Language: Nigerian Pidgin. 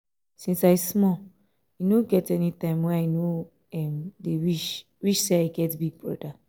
since i small e no get anytime i no um dey wish wish say i get big brother